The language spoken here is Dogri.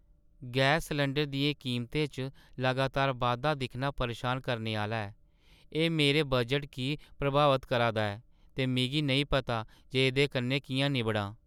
गैस सलैंडरै दियें कीमतें च लगातार बाद्धा दिक्खना परेशान करने आह्‍‌ला ऐ। एह् मेरे बजटै गी प्रभावत करा दा ऐ, ते मिगी नेईं पता जे एह्दे कन्नै कि'यां निब्बड़ां।